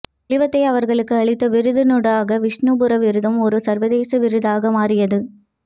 தெளிவத்தை அவர்களுக்கு அளித்த விருதினூடாக விஷ்ணுபுரம் விருதும் ஓரு சர்வதேச விருதாக மாறியது